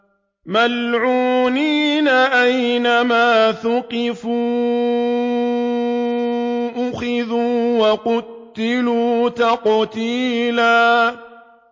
مَّلْعُونِينَ ۖ أَيْنَمَا ثُقِفُوا أُخِذُوا وَقُتِّلُوا تَقْتِيلًا